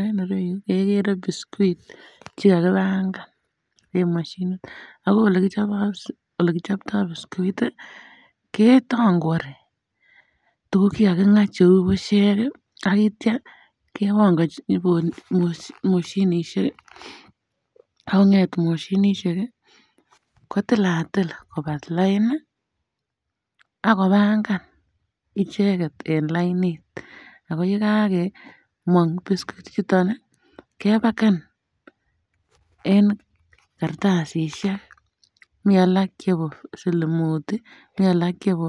En irou kegere biscuits chekakipangan en mashinit ago ole um ole kipchopto biscuit ketakwari tuguk chengakika kou bushek ak kitya kebongochi um moshinishek ak konget moshinishek kotilatil kobalain ak kopangan ichenget en lainit ago yegamong biscuit ichuton kepaken en kartasishek mi alak chebo silimut, mi alak chebo